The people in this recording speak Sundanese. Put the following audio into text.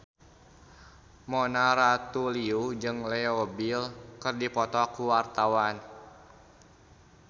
Mona Ratuliu jeung Leo Bill keur dipoto ku wartawan